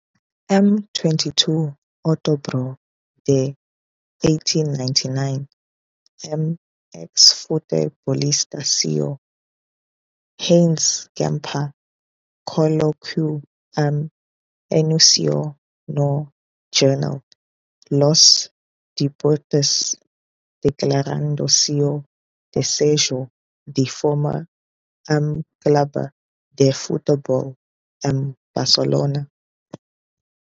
Em 22 de outubro de 1899, um ex-futebolista suíço, Hans Gamper, colocou um anúncio no jornal "Los Deportes" declarando seu desejo de formar um clube de futebol em Barcelona.